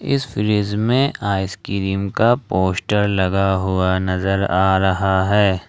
इस फ्रिज में आइसक्रीम का पोस्टर लगा हुआ नजर आ रहा है।